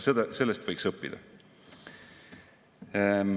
Ka sellest võiks õppida.